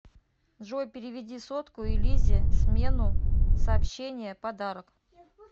джой переведи сотку и лизе смену сообщение подарок